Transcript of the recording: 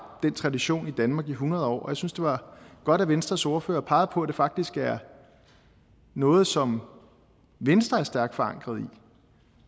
den tradition i danmark i hundrede år og jeg synes det var godt at venstres ordfører pegede på at det faktisk er noget som venstre er stærkt forankret i